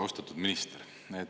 Austatud minister!